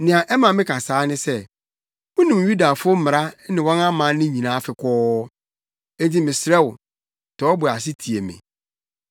Nea ɛma meka saa ne sɛ, wunim Yudafo mmara ne wɔn amanne nyinaa fekɔɔ. Enti mesrɛ wo, tɔ wo bo ase tie me.